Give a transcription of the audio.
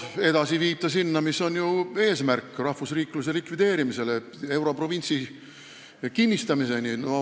See viib sinnani, mis on eesmärk – rahvusriikluse likvideerimiseni, europrovintsi kinnistamiseni.